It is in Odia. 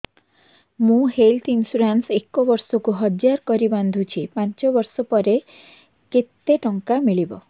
ମୁ ହେଲ୍ଥ ଇନ୍ସୁରାନ୍ସ ଏକ ବର୍ଷକୁ ହଜାର କରି ବାନ୍ଧୁଛି ପାଞ୍ଚ ବର୍ଷ ପରେ କେତେ ଟଙ୍କା ମିଳିବ